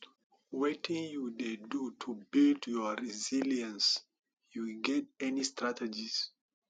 wetin you dey do to build your resilience you get any strategies